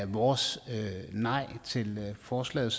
vores nej til forslaget